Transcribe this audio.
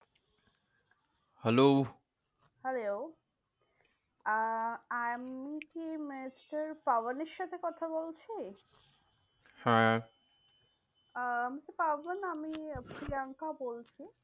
Hello hello আহ আমি কি mister পাবন এর সাথে কথা বলছি? হ্যাঁ আহ mister পাবন আমি প্রিয়াঙ্কা বলছি।